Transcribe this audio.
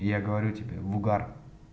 я говорю тебе в угар